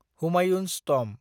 Humayun's tomb